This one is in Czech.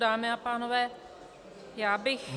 Dámy a pánové, já bych -